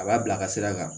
A b'a bila a ka sira kan